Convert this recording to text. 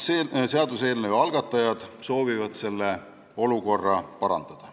Seaduseelnõu algatajad soovivad seda olukorda parandada.